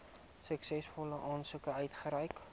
suksesvolle aansoekers uitgereik